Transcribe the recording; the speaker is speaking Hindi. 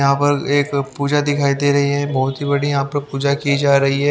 यहां पर एक पूजा दिखाई दे रही है बहुत ही बड़ी यहां पर पूजा की जा रही है।